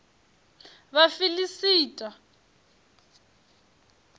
vhafiḽista